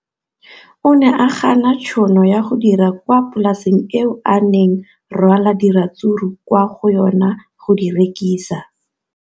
O ne a gana tšhono ya go dira kwa polaseng eo a neng rwala diratsuru kwa go yona go di rekisa.